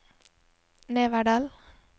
Neverdal